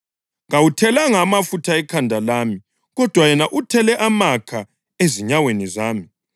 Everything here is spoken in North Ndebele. Kawuthelanga amafutha ekhanda lami, kodwa yena uthele amakha ezinyaweni zami.